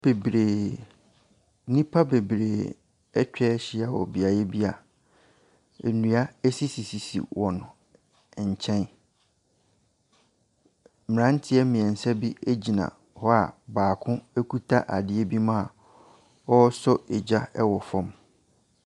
Bebree, nnipa bebree atwa ahyia wɔ beaeɛ bi a nnua sisisisi wɔn nkyɛn. Mmranteɛ mmiensa bi gyina hɔ a baako kuta adeɛ bi mu a ɔresɔ gya wɔ fam.